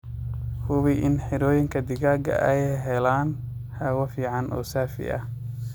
Hubi in xirooyinka digaaga ay helaan hawo fican oo safi ah.